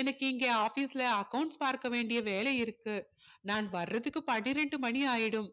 எனக்கு இங்க office ல accounts பார்க்க வேண்டிய வேலை இருக்கு நான் வர்றதுக்கு பன்னிரண்டு மணி ஆகிடும்